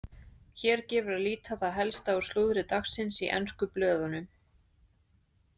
Hér gefur að líta það helsta úr slúðri dagsins í ensku blöðunum.